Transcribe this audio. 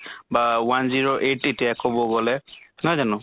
বা one zero eight এতিয়া কʼব গʼলে, নহয় জানো?